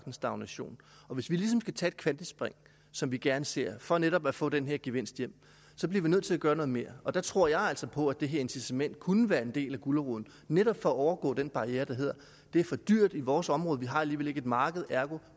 en stagnation hvis vi ligesom skal tage et kvantespring som vi gerne ser for netop at få den her gevinst hjem bliver vi nødt til at gøre noget mere og der tror jeg altså på at det her incitament kunne være en del af guleroden netop for at komme over den barriere der hedder det er for dyrt i vores område vi har alligevel ikke et marked ergo